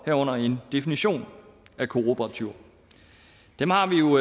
herunder en definition af kooperativer dem har vi jo